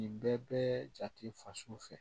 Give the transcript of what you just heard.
Nin bɛɛ bɛ jate faso fɛ